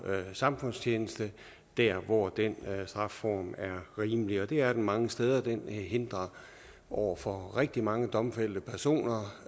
samfundstjeneste der hvor den strafform er rimelig og det er den mange steder den hindrer over for rigtig mange domfældte personer